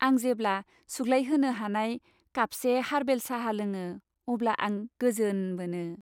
आं जेब्ला सुग्लायहोनो हानाय कापसे हारबेल साहा लोङो अब्ला आं गोजोन मोनो।